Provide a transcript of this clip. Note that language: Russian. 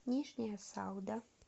нижняя салда